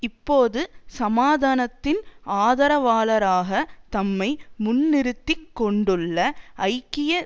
இப்போது சமாதானத்தின் ஆதரவாளராக தம்மை முன்நிறுத்திக் கொண்டுள்ள ஐக்கிய